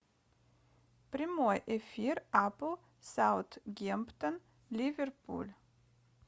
прямой эфир апл саутгемптон ливерпуль